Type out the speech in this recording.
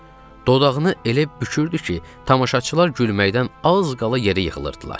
Dodağını elə bükürdü ki, tamaşaçılar gülməkdən az qala yerə yıxılırdılar.